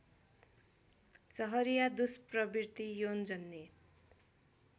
सहरिया दुष्प्रवृत्ति यौनजन्य